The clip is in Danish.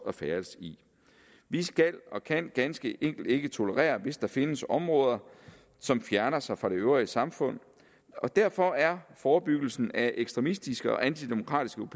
at færdes i vi skal og kan ganske enkelt ikke tolerere hvis der findes områder som fjerner sig fra det øvrige samfund og derfor er forebyggelsen af ekstremistiske og antidemokratiske